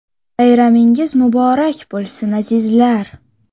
Bayramingiz muborak bo‘lsin, azizlar!